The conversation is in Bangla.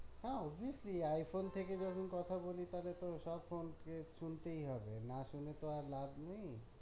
হ্যাঁ obviously I-phone থেকে যখন কথা বলি তালে তো সব phone কে শুনতেই হবে, না শুনে তো আর লাভ নেই।